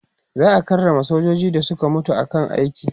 za'a karrama sojojin da Suka mutu a kan aiki